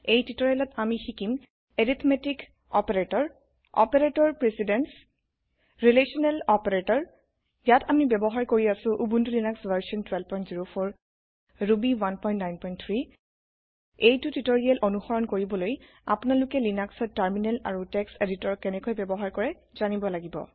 এই টিউটৰিয়েলত আমি শিকিম arithmetic operator operator precedence relational operator ইয়াত আমি ৱ্যবহাৰ কৰি আছো উবুন্তু লিনাক্স ভাৰচন ১২০৪ ৰুবি ১৯৩ এইটো টিউটোৰিয়েল অনুসৰন কৰিবলৈ আপোনালোকে লিনাক্সত টাৰমিনেল আৰু টেক্সট্ এদিতৰ কেনেকৈ ব্যৱহাৰ কৰে জানিব লাগিব